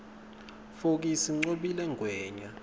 fokisi ncobile ngwenya